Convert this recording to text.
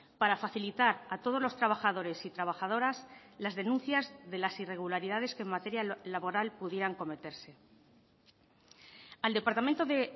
para facilitar a todos los trabajadores y trabajadoras las denuncias de las irregularidades que en materia laboral pudieran cometerse al departamento de